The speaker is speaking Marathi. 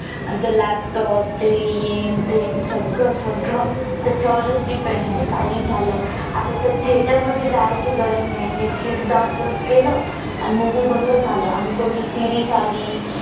आणि ते laptop ते हे न ते सगळं सगळं त्याच्यावरच depend आहे काही झालं आता तर theater मध्ये जायची गरज नाही ते Netflix download केलं आणि कोणती movie बघलं झालं आणि कोणती series आली